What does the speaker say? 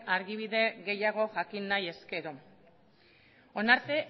adibide gehiago jakin nahi ezkero honaino